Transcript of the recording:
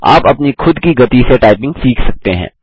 आप अपनी खुद की गति से टाइपिंग सीख सकते हैं